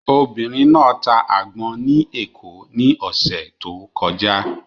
Obìnrin náà ta àgbọn ní Èkó ní ọ̀sẹ̀ tó kọjá.